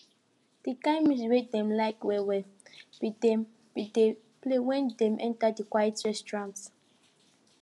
the kin music wey dem dey like well well been dey been dey play when dem enter the quiet restaurant